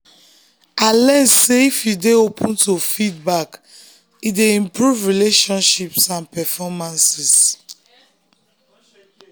i learn sey if you dey open to feedback e dey improve relationships and performances